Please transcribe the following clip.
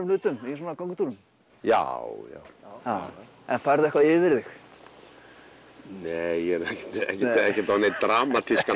hlutum í svona göngutúrum já færðu eitthvað yfir þig nei ekkert á neinn dramatískan